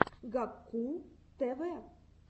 гакку тв